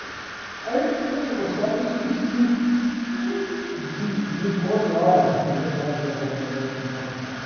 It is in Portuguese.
Aí, quando chegou sábado, eu esqueci de, do encontro lá de manhã, às dez horas da manhã, lá com o do padre.